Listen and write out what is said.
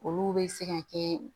Olu bɛ se ka kɛ